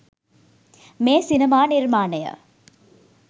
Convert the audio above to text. මේ සිනමා නිර්මාණය